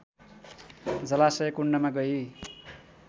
जलाशय कुण्डमा गई